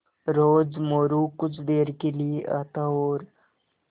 रोज़ मोरू कुछ देर के लिये आता और